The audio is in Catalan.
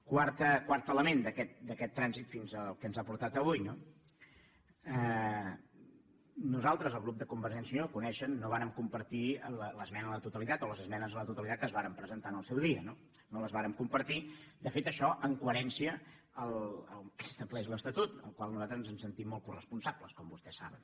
quart element d’aquest trànsit fins al que ens ha portat avui nosaltres el grup de convergència i unió ho coneixen no vàrem compartir l’esmena a la totalitat o les esmenes a la totalitat que es varen presentar en el seu dia no no les vàrem compartir de fet això en coherència amb el que estableix l’estatut del qual nosaltres ens sentim molt coresponsables com vostès saben